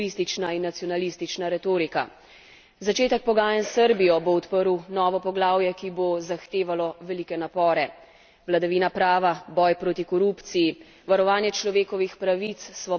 Začetek pogajanj s Srbijo bo odprl novo poglavje, ki bo zahtevalo velike napore vladavina prava, boj proti korupciji, varovanje človekovih pravic, svoboda medijev tu bo delo najtežje.